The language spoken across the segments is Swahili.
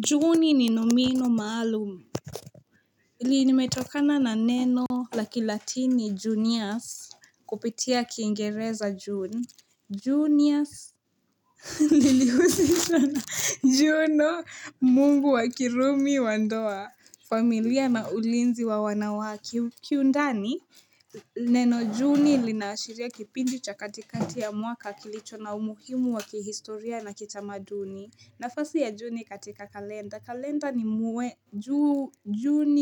Chuguni ni nomino maalumu Hili limetokana na neno la kilatini juniors kupitia kiingereza jun juniors Nilihuzisha na juno mungu wakirumi wa ndoa familia na ulinzi wa wanawake Neno juni linaashiria kipindi cha katikati ya mwaka kilicho na umuhimu wa kihistoria na kitamaduni nafasi ya juni katika kalenda. Kalenda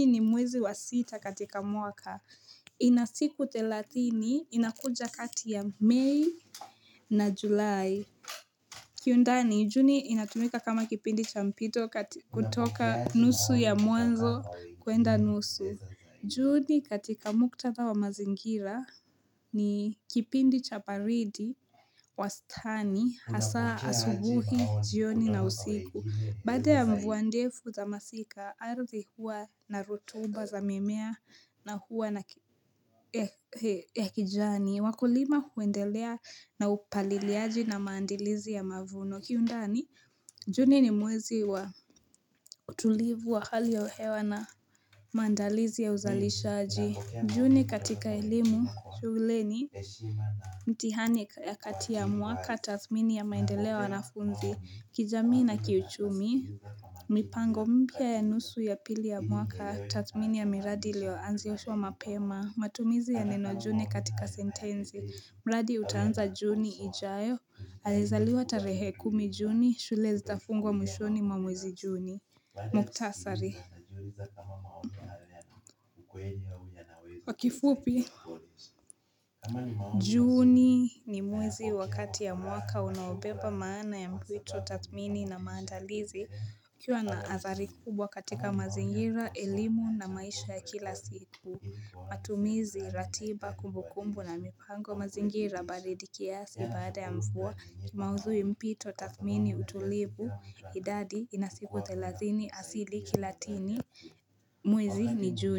ni mwezi wa sita katika mwaka. Inasiku thelatini, inakuja kati ya Mei na Julai. Kiundani, juni inatumika kama kipindi cha mpito kutoka nusu ya mwanzo kuenda nusu. Juni katika muktatha wa mazingira ni kipindi cha baridi wastani hasa asubuhi jioni na usiku. Baada ya mvua ndefu za masika, ardhi huwa na rutuba za mimea na hua ya kijani, wakulima huendelea na upaliliaji na maandilizi ya mavuno, kiundani, juni ni mwezi wa utulivu wa hali ya hewa na maandilizi ya uzalishaji. Juni katika elimu, shuleni, mtihani ya kati ya mwaka, tathmini ya maendeleo ya wanafunzi, kijamii na kiuchumi. Mipango mpya ya nusu ya pili ya mwaka tathmini ya miradi ilioanzishwa mapema matumizi ya neno juni katika sentensi mradi utanza juni ijayo Alizaliwa tarehe kumi juni shule zitafungwa mwishoni mwa mwezi juni Muktasari Kwa kifupi Juni ni mwezi wa kati ya mwaka unaobeba maana ya mwitu tathmini na maandalizi kuwa na athari kubwa katika mazingira, elimu na maisha ya kila siku matumizi, ratiba, kumbu kumbu na mipango mazingira baridi kiasi baada ya mvua Kimaudhui mpito, tathmini, utulivu, idadi, inasiku thelathini asili kilatini Mwezi ni juni.